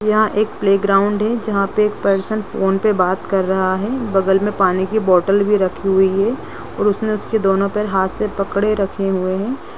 यहाँ एक play ground है जहां पर एक पर्सन फोन पे बात कर रहा है बगल मे पानी की बोतल भी रखी हुई है और उसने उसके दोनों पैर हाथ से पकड़े रखे हुए है।